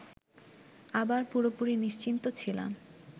আবার পুরোপুরি নিশ্চিন্ত ছিলাম